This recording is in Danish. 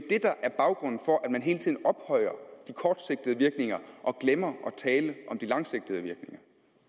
det der er baggrunden for at man hele tiden ophøjer de kortsigtede virkninger og glemmer at tale om de langsigtede virkninger